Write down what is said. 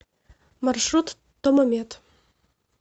маршрут томомед